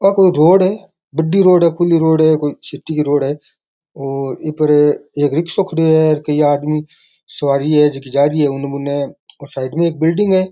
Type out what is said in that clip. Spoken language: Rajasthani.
आ कोई रोड है बड़ी रोड है खुली रोड है कोई सिटी की रोड है इ पर एक रिक्सा खड़े है कई आदमी सवारी है जो की जा रही है उनने मुन्ने एक बिल्डिंग है।